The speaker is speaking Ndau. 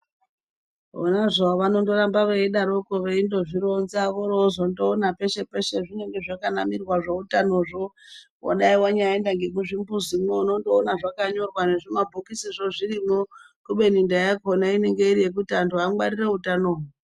Vona zvavo vanondoramba veidaroko veindozvironzwa oro vozondoona peshe-peshe pazvinonga zvakanamirwa zveutanozvo. Vadai vanyaenda ngemuzvimbizimwo unondoona zvakanyorwa nezvimabhokisizvo zvirimwo. Kubeni ndaa yakona inenge iri yekuti antu angwarire utano.